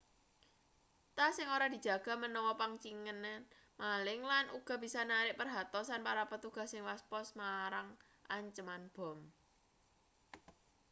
tas sing ora dijaga menawa pangincengan maling lan uga bisa narik perhatosan para petugas sing waspaos marang anceman bom